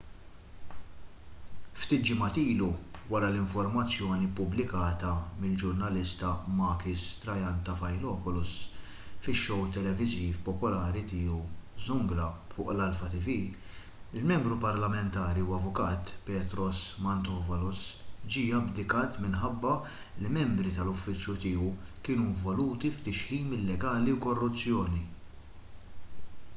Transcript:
ftit ġimgħat ilu wara l-informazzjoni ppubblikata mill-ġurnalista makis triantafylopoulos fis-show televiżiv popolari tiegħu zoungla fuq l-alpha tv il-membru parlamentari u avukat petros mantouvalos ġie abdikat minħabba li membri tal-uffiċċju tiegħu kienu involuti f'tixħim illegali u korruzzjoni